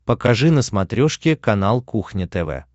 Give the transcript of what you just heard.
покажи на смотрешке канал кухня тв